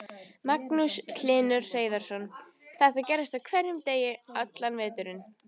Magnús Hlynur Hreiðarsson: Þetta gerist á hverjum degi allan veturinn?